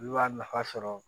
Olu y'a nafa sɔrɔ